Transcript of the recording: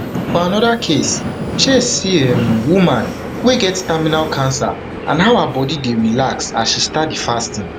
for anoda case chase see um woman wey get terminal cancer and how her body dey relax as she start di fasting